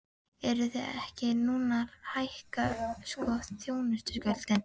Eruð þið ekki núna að hækka sko þjónustugjöldin?